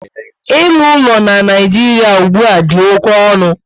Ịlụ ụlọ na Naijiria ugbua dị oké ọnụ